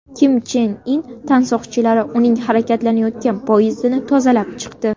Kim Chen In tansoqchilari uning harakatlanayotgan poyezdini tozalab chiqdi .